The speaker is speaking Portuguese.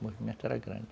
O movimento era grande.